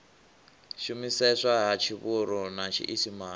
shumiseswa ha tshivhuru na tshiisimane